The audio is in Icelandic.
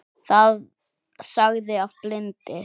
sagði afi blindi.